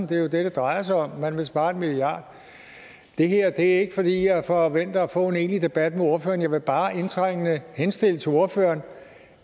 det er jo det det drejer sig om nemlig at man vil spare en milliard det her er ikke fordi jeg forventer at få en egentlig debat med ordføreren men jeg vil bare indtrængende henstille til ordføreren